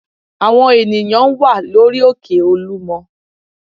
Àwọn ènìyàn wà lórí òkè Olúmọ